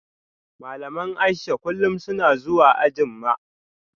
Malaman Aisha kullum suna zuwa anjima